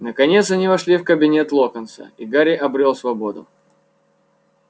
наконец они вошли в кабинет локонса и гарри обрёл свободу